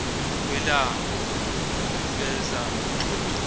kwelambu kuveza umxoxi